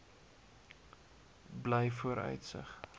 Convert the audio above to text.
blyvooruitsig